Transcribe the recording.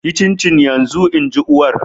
Yi cincin yanzu! In ji uwar.